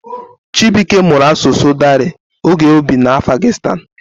Chibuike mụrụ asụsụ Dari oge o bi n'Afghanistan.